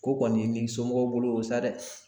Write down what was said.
Ko kɔni ye n'i somɔgɔw bolo o san dɛ!